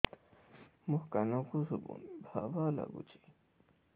ମୋ କାନକୁ ଶୁଭୁନି ଭା ଭା ଲାଗୁଚି